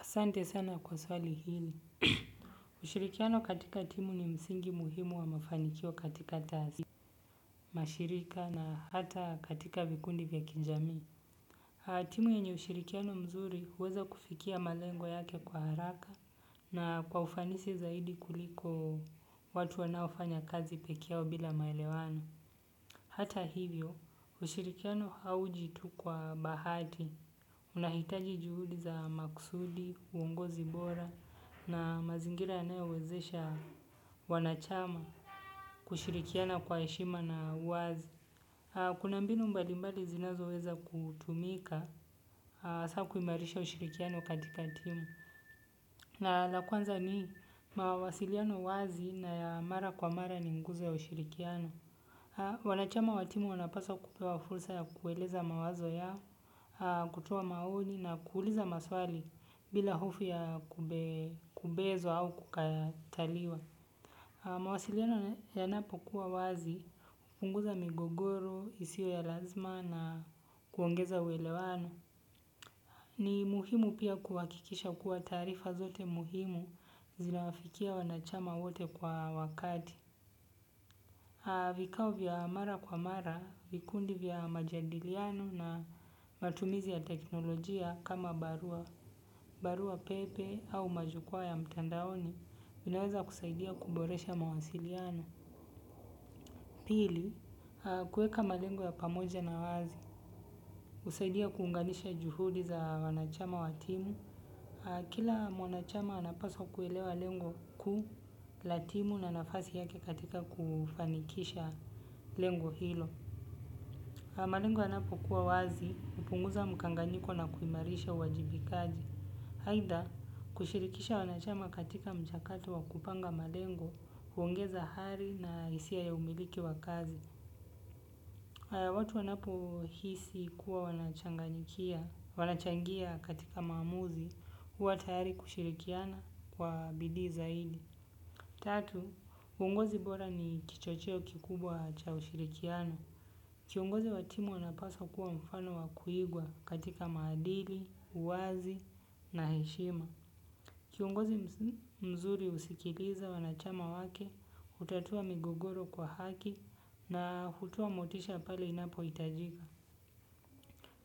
Asante sana kwa swali hili. Ushirikiano katika timu ni msingi muhimu wa mafanikio katika tasi, mashirika na hata katika vikundi vya kijamii. Timu yenye ushirikiano mzuri huweza kufikia malengo yake kwa haraka na kwa ufanisi zaidi kuliko watu wanaofanya kazi peke yao bila maelewano. Hata hivyo, ushirikiano hauji tu kwa bahati. Unahitaji juhudi za maksudi uongozi bora na mazingira yanayowezesha wanachama kushirikiana kwa heshima na uwazi. Kuna mbinu mbali mbali zinazo weza kutumika saa kuimarisha ushirikiano katika timu. Na la kwanza ni mawasiliano wazi na mara kwa mara ni nguzo ya ushirikiano. Wanachama wa timu wanapaswa kupewa fursa ya kueleza mawazo yao, kutoa maoni na kuuliza maswali bila hofu ya kubezwa au kukataliwa. Mawasiliano yanapo kuwa wazi, hupunguza migogoro, isio ya lazima na kuongeza uelewano. Ni muhimu pia kuhakikisha kuwa taarifa zote muhimu zinawafikia wanachama wote kwa wakati. Vikao vya mara kwa mara, vikundi vya majadiliano na matumizi ya teknolojia kama barua. Barua pepe au majukwaa ya mtandaoni vinaweza kusaidia kuboresha mawasiliano. Pili, kuweka malengo ya pamoja na wazi. Husaidia kuunganisha juhudi za wanachama wa timu. Kila mwanachama anapaswa kuelewa lengo kuu la timu na nafasi yake katika kufanikisha lengo hilo. Malengo yanapo kuwa wazi, hupunguza mkanganyiko na kuimarisha uwajibikaji. Haidha, kushirikisha wanachama katika mchakato wa kupanga malengo, huongeza hali na hisia ya umiliki wa kazi. Watu wanapo hisi kuwa wanachangia katika maamuzi huwa tayari kushirikiana kwa bidii zaidi. Tatu, uongozi bora ni kichocheo kikubwa cha ushirikiano. Kiongozi wa timu anapaswa kuwa mfano wa kuigwa katika maadili, uwazi na heshima. Kiongozi mzuri husikiliza wanachama wake, hutatua migogoro kwa haki na hutoa motisha pale inapo hitajika.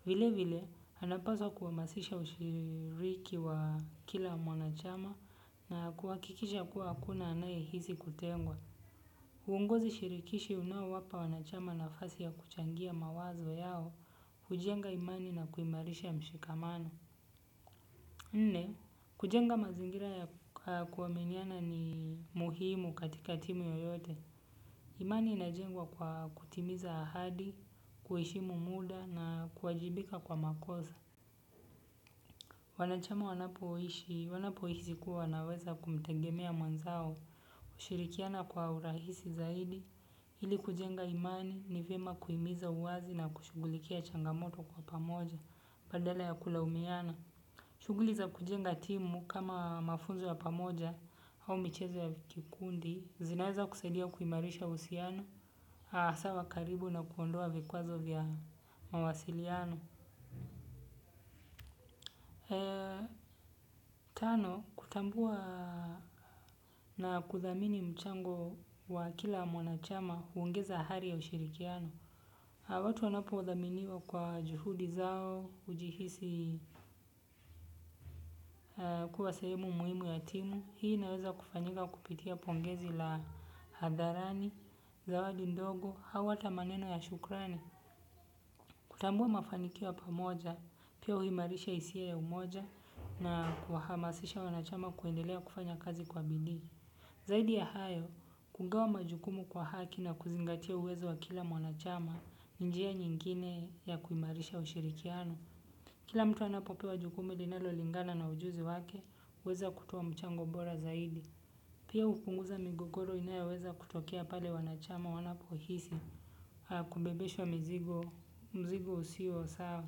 Vile vile anapaswa kuhamasisha ushiriki wa kila mwanachama na kuhakikisha kuwa hakuna anayehisi kutengwa. Uongozi shirikishi unaowapa wanachama nafasi ya kuchangia mawazo yao hujenga imani na kuimarisha mshikamano. Nne, kujenga mazingira ya kuaminiana ni muhimu katika timu yeyote. Imani inajengwa kwa kutimiza ahadi, kuheshimu muda na kuwajibika kwa makosa. Wanachama wanapoishi, wanapo hisi kuwa wanaweza kumtengemea mwenzao. Kushirikiana kwa urahisi zaidi ili kujenga imani ni vyema kuhimiza uwazi na kushughulikia changamoto kwa pamoja badala ya kulaumiana. Shughuli za kujenga timu kama mafunzo ya pamoja au michezo ya vikundi, zinaeza kusaidia kuimarisha uhusiano, sawa karibu na kuondoa vikwazo vya mawasiliano. Tano, kutambua na kuthamini mchango wa kila mwanachama huongeza hali ya ushirikiano watu wanapothaminiwa kwa juhudi zao hujihisi kuwa sehemu muhimu ya timu hii inaweza kufanyika kupitia pongezi la hadharani zawadi ndogo au hata maneno ya shukrani. Kutambua mafanikio ya pamoja, pia huimarisha hisia ya umoja na kuhamasisha wanachama kuendelea kufanya kazi kwa biidi. Zaidi ya hayo, kugawa majukumu kwa haki na kuzingatia uwezo wa kila mwanachama ni njia nyingine ya kuimarisha ushirikiano. Kila mtu anapopewa jukumu linalo lingana na ujuzi wake, huweza kutoa mchango bora zaidi. Pia hupunguza migogoro inayoweza kutokea pale wanachama wanapohisi haa kubebeshwa mzigo usio sawa.